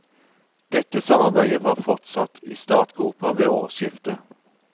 Dette samarbeidet var fortsatt i startgropa ved årsskiftet.